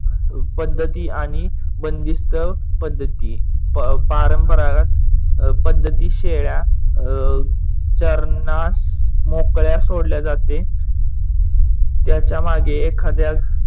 पद्धती आणि बंदिस्त पद्धती. पारंपारक पद्धती शेळ्या अह चरणास मोकळ्या सोडल्या जाते त्याच्या मागे एखाद्या